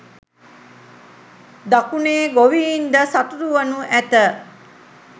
දකුණේ ගොවීන්ද සතුටුවනු ඇත